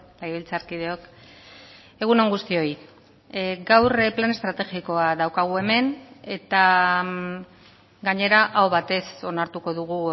legebiltzarkideok egun on guztioi gaur plan estrategikoa daukagu hemen eta gainera aho batez onartuko dugu